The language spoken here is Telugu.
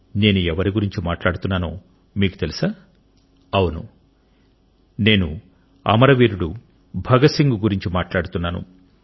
నేను ఎవరి గురించి మాట్లాడుతున్నానో మీకు తెలుసా అవును నేను అమరవీరుడు భగత్ సింగ్ గురించి మాట్లాడుతున్నాను